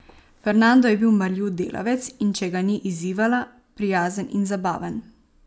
Fernando je bil marljiv delavec, in če ga ni izzivala, prijazen in zabaven.